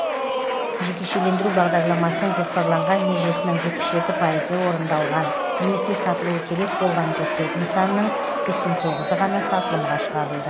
жекешелендіру бағдарламасының жоспарланған межесінің жетпіс жеті пайызы орындалған немесе сатылуы керек болған жүз төрт нысанның сексен тоғызы ғана сатылымға шығарылды